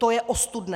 To je ostudné